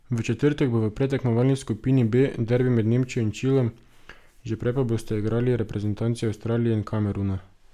V četrtek bo v predtekmovalni skupini B derbi med Nemčijo in Čilom, že prej pa bosta igrali reprezentanci Avstralije in Kameruna.